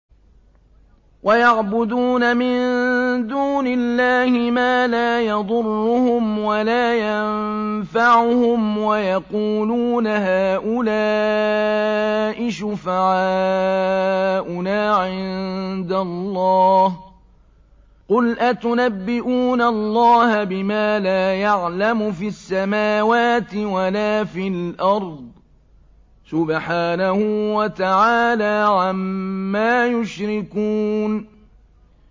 وَيَعْبُدُونَ مِن دُونِ اللَّهِ مَا لَا يَضُرُّهُمْ وَلَا يَنفَعُهُمْ وَيَقُولُونَ هَٰؤُلَاءِ شُفَعَاؤُنَا عِندَ اللَّهِ ۚ قُلْ أَتُنَبِّئُونَ اللَّهَ بِمَا لَا يَعْلَمُ فِي السَّمَاوَاتِ وَلَا فِي الْأَرْضِ ۚ سُبْحَانَهُ وَتَعَالَىٰ عَمَّا يُشْرِكُونَ